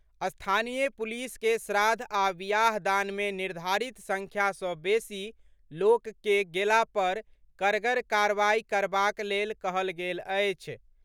स्थानीय पुलिस के श्राद्ध आ बिआहदानमे निर्धारित सङ्ख्या सँ बेसी लोक के गेला पर कड़गर कार्रवाइ करबाक लेल कहल गेल अछि।